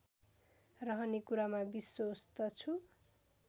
रहने कुरामा विश्वस्त छु